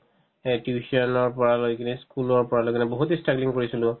সেই tuition ৰ পৰা গৈ কিনে school ত পোৱা লৈকে বহুত ই struggling কৰিছিলো